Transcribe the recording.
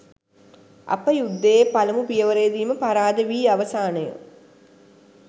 අප යුද්ධයේ පළමු පියවරේදීම පරාද වී අවසානය.